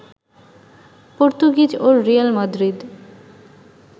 Portuguese ও Real Madrid